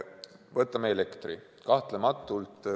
Võtame elektri.